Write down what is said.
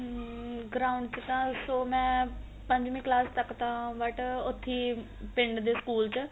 ਉਮ ground ਚ ਤਾਂ so ਮੈਂ ਪੰਜਵੀ ਕਲਾਸ ਤੱਕ ਤਾਂ but ਉੱਥੇ ਈ ਪਿੰਡ ਦੇ school ਚ